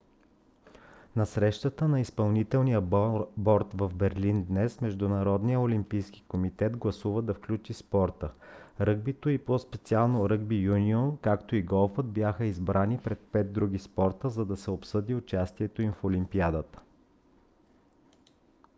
на срещата на изпълнителния борд в берлин днес международният олимпийски комитет гласува да включи спорта. ръгбито и по-специално ръгби юнион както и голфът бяха избрани пред пет други спорта за да се обсъди участието им в олимпиадата